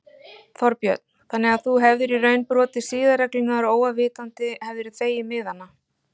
Þorbjörn: Þannig að þú hefðir í raun brotið siðareglurnar óafvitandi hefðirðu þegið miðana?